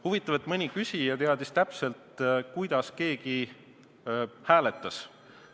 Huvitav, et mõni küsija teadis täpselt, kuidas keegi hääletas.